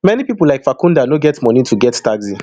many pipo like farkhunda no get money to get taxi